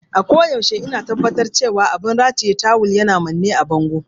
A koyaushe ina tabbatar da cewa abin rataye tawul yana manne da bango.